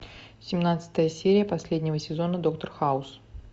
семнадцатая серия последнего сезона доктор хаус